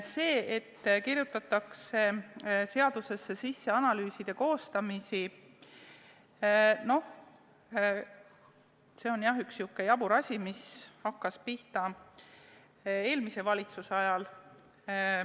See, et kirjutatakse seadusesse sisse analüüside tegemist – see on, jah, üks sihuke jabur asi, mis hakkas pihta eelmise valitsuse ajal.